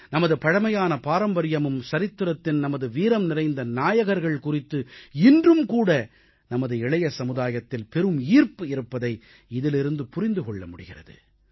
நமது பழமையான பாரம்பரியமும் சரித்திரத்தின் நமது வீரம் நிறைந்த நாயகர்கள் குறித்து இன்றும் நமது இளைய சமுதாயத்தில் பெரும் ஈர்ப்பு இருப்பதை இதிலிருந்து புரிந்து கொள்ள முடிகிறது